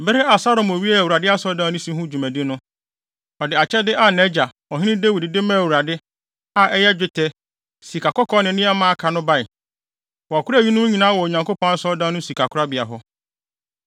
Bere a Salomo wiee Awurade Asɔredan no si ho dwumadi no, ɔde akyɛde a nʼagya, Ɔhene Dawid, de maa Awurade, a ɛyɛ dwetɛ, sikakɔkɔɔ ne nneɛma a aka no bae. Wɔkoraa eyinom nyinaa wɔ Onyankopɔn Asɔredan no sikakorabea hɔ.